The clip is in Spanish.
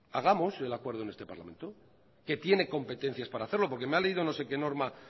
hagamos el acuerdo en este parlamento que tiene competencias para hacerlo porque me ha leído no sé qué norma